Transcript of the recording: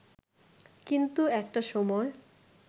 কিন্তু একটা সময়